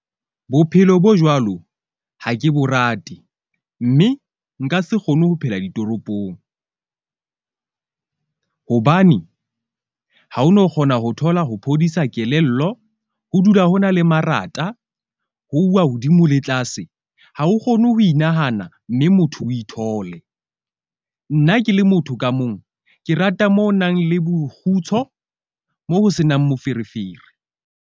Bophelo bo jwalo ha ke bo rate, mme nka se kgone ho phela ditoropong. Hobane ha o no kgona ho thola ho phodisa kelello, ho dula ho na le marata. Ho uwa hodimo le tlase. Ha o kgone ho inahana mme motho o ithole. Nna ke le motho ka mong. Ke rata moo ho nang le bokgutsho mo ho senang moferefere.